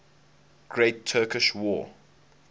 great turkish war